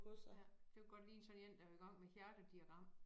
Ja det kunne godt ligne sådan én der i gang med hjertediagram